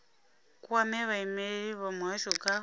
kwame vhaimeleli vha muhasho kha